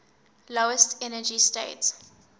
lowest energy state